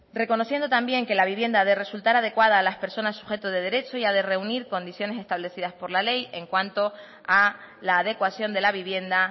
reconociendo también que la vivienda ha de resultar adecuada a las personas sujeto de derecho y ha de reunir condiciones establecidas por la ley en cuanto a la adecuación de la vivienda